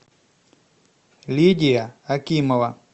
лидия акимова